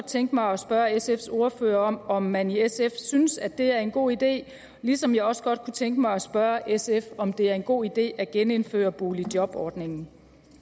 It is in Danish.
tænke mig at spørge sfs ordfører om altså om man i sf synes at det er en god idé ligesom jeg også godt kunne tænke mig at spørge sf om det er en god idé at genindføre boligjobordningen